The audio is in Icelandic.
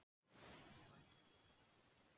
Miðdal